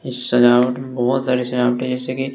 इस सजावट में बहोत सारे सजावटे है जैसे की--